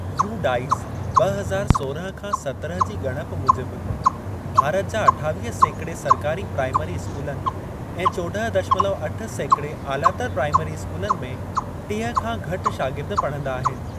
U - DISE ॿ हज़ार सोरहं खां सत्रहं जी ॻणप मूजिबि, भारत जा अठावीह सेकड़े सरकारी प्राईमरी स्कूलनि ऐं चोड॒हं दशमलव अठ सेकड़े आलातर प्राईमरी स्कूलनि में टीह खां घटि शागिर्द पढ़ंदा आहिनि।